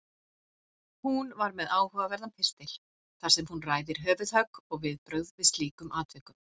Hún er með áhugaverðan pistil þar sem hún ræðir höfuðhögg og viðbrögð við slíkum atvikum.